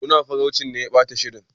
Munafurcin ne ya ɓata shirin.